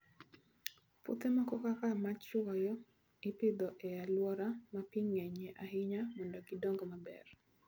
Puothe moko kaka machuoyo, ipidho e alwora ma pi ng'enyie ahinya mondo gidong maber.